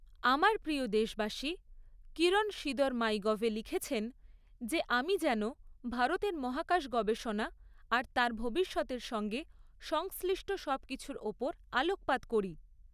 আমার প্রিয় দেশবাসী, কিরণ সিদর মাইগভে লিখেছেন যে আমি যেন ভারতের মহাকাশ গবেষণা আর তার ভবিষ্যতের সঙ্গে সংশ্লিষ্ট সবকিছুর ওপর আলোকপাত করি।